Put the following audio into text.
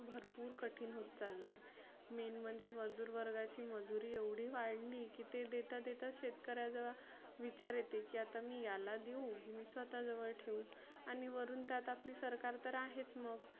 भरपुर कठीन होत चाललय. main म्हणजे मजुर वर्गाची मजुरी एवढी वाढली की ते देता देताच शेतकऱ्या जवळ विचार येते की मी याला देऊ की मी स्वतः जवळ ठेऊ. आणि वरुण तर आपली सरकार तर आहेच मग.